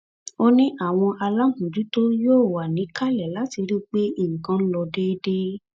ó ní àwọn aláàmọjútó yóò wà níkàlẹ láti rí i pé nǹkan ló déédé